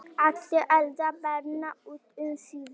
Allir eldar brenna út um síðir.